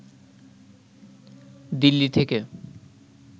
দিল্লি থেকে